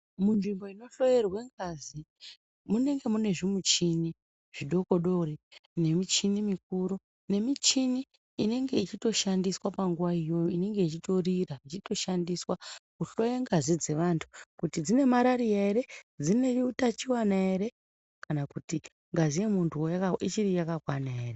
Munzvimbo zvinohloyerwa ngazi munenge mune zvimichini zvikokodoori, nemichini mikuru, nemichini inenge ichitoshandiswa panguva iyo, inenge ichitorira ichitoshandiswa kuhloya ngazi dzevantu kuti dzine marariya here, dzine utachiwana here kana kuti ngazi yemuntu ichiri yakakwana here.